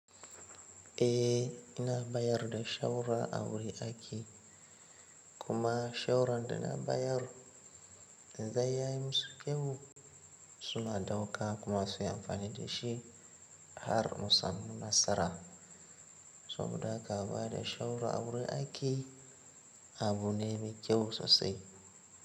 Eh ina bayar da shawara a wurin aiki kuma shawarar da na bayar idan ya musu kyau. Suna ɗauka kuma su yi amfani da shi har mu samu nasara saboda haka ba da shawara a wurin aiki abu ne mai kyau sosai.